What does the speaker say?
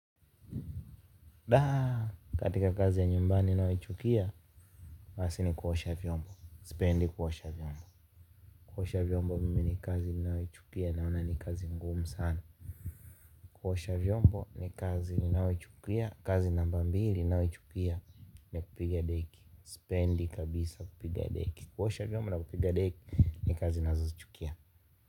Katika kazi ya nyumbani nayoichukia, basi ni kuosha vyombo, sipendi kuosha vyombo kuosha vyombo mimi ni kazi ninayochukia naona ni kazi ngumu sana kuosha vyombo ni kazi ninayoichukia, kazi namba mbili nayoichukia ni kupiga deki sipendi kabisa kupiga deki kuosha vyombo na kupiga deki ni kazi nazozichukia.